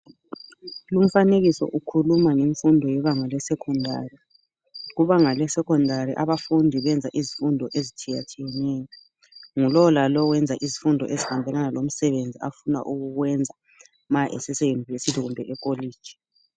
Lumfanekiso ukhuluma ngemfundo yebanga lesecondary ,kubanga le secondary abafundi benza izifundo ezitshiyatshiyaneyo ngu lowulalowu wenza izifundo ezihambelana lomsebenzi afuna ukuwenza nxa esese university kumbe e kolitshi.